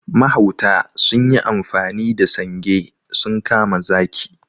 Mahauta sunyi amfani da sange sun kama zaki.